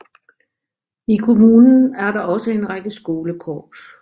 I kommunen er der også en række skolekorps